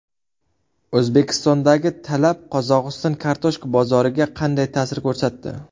O‘zbekistondagi talab Qozog‘iston kartoshka bozoriga qanday ta’sir ko‘rsatdi?.